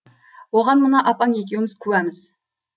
оған мына апаң екеуіміз куәміз